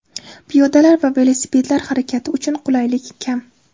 Piyodalar va velosipedlar harakati uchun qulaylik kam.